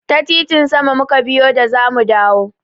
Ta titin sama mu ka biyo da za mu dawo.